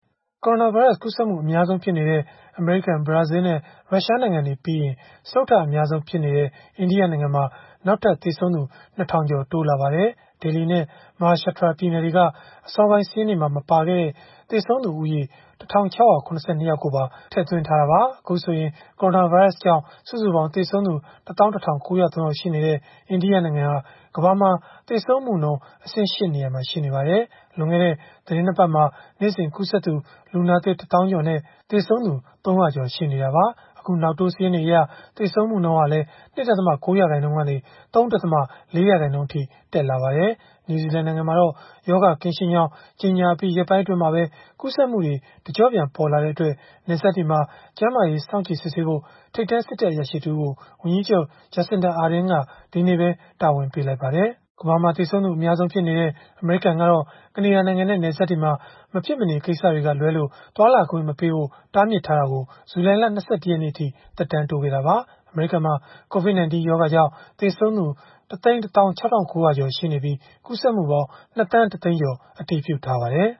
ကိုရိုနာဗိုင်းရပ်စ် ကူးစက်မှု အများဆုံးဖြစ်နေတဲ့ အမေရိကန်၊ ဘရာဇီးလ်နဲ့ ရုရှားနိုင်ငံတွေပြီးရင် စတုတ္ထအများဆုံးဖြစ်တဲ့ အိန္ဒိယနိုင်ငံမှာ နောက်ထပ် သေဆုံးသူ ၂,၀၀၀ ကျော် တိုးလာပါတယ်။ Delhi နဲ့ Maharashtra ပြည်နယ်တွေက အစောပိုင်းစာရင်းတွေမှာ မပါခဲ့တဲ့ သေဆုံးသူဦးရေ ၁,၆၇၂ ယောက်ပါ ထည့်သွင်းထားတာပါ။ အခုဆိုရင် ကိုရိုနာဗိုင်းရပ်စ်ကြောင့် စုစုပေါင်းသေဆုံးသူ ၁၁,၉၀၃ ယောက် ရှိနေတဲ့ အိန္ဒိယနိုင်ငံဟာ ကမ္ဘာမှာ သေဆုံးမှုနှုန်း အဆင့် ၈ နေရာမှာ ရှိနေပါတယ်။ လွန်ခဲ့တဲ့ သီတင်း ၂ ပတ်မှာ နေ့စဉ်ကူးစက်သူ လူနာသစ် ၁၀,၀၀၀ ကျော်နဲ့ သေဆုံးသူ ၃၀၀ ကျော် ရှိနေတာပါ။ အခုနောက်တိုး စာရင်းတွေအရ သေဆုံးမှုနှုန်းဟာလည်း ၂.၉ ရာခိုင်နှုန်းကနေ ၃.၄ ရာခိုင်နှုန်းအထိ တက်လာပါတယ်။ နယူးဇီလန်နိုင်ငံမှာတော့ ရောဂါကင်းရှင်းကြောင်း ကြေညာအပြီး ရက်ပိုင်းအတွင်းမှာပဲ ရောဂါကူးစက်မှုတွေ တကျော့ပြန်ပေါ်လာတဲ့အတွက် နယ်စပ်တွေမှာ ကျန်းမာရေးစောင့်ကြည့်စစ်ဆေးဖို့ ထိပ်တန်းစစ်တပ်အရာရှိ တဦးကို ဝန်ကြီးချုပ် Jacinda Ardern က ဒီကနေ့ပဲ တာဝန်ပေးလိုက်ပါတယ်။ ကမ္ဘာမှာသေဆုံးသူ အများဆုံးဖြစ်နေတဲ့ အမေရိကန်ကတော့ ကနေဒါနိုင်ငံနဲ့ နယ်စပ်တွေမှာ မဖြစ်မနေကိစ္စက လွဲလို့ သွားလာခွင့်မပေးဖို့ ပိတ်ထားတာကို ဇူလိုင်လ ၂၁ ရက်နေ့အထိ သက်တမ်းတိုးခဲ့တာပါ။ အမေရိကန်မှာ COVID-19 ရောဂါကြောင့် သေဆုံးသူ ၁၁၆,၉၀၀ ကျော် ရှိနေပြီး ကူးစက်မှုပေါင်း ၂,၁၀၀,၀၀၀ ကျော် အတည်ပြုထားပါတယ်